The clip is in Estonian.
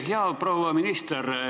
Hea proua minister!